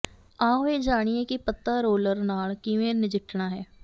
ਆਓ ਇਹ ਜਾਣੀਏ ਕਿ ਪੱਤਾ ਰੋਲਰ ਨਾਲ ਕਿਵੇਂ ਨਜਿੱਠਣਾ ਹੈ